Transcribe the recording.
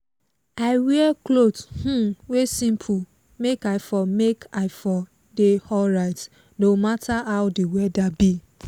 i wear clot um wey simple make i for make i for dey alryt no matter how the whether be